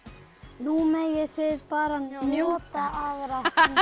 nú megið þið bara nota aðra